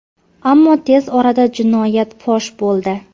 Ammo tez orada jinoyat fosh bo‘ldi.